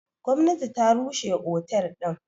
Gwamnati ta rushe otel din.